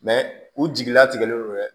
u jigilatigɛlen don dɛ